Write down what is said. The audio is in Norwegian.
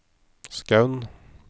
Skaun